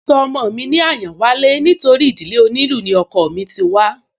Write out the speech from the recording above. Mo sọ ọmọ mi ní Àyánwálé nítorí ìdílé onílù ni ọkọọ̀ mí ti wá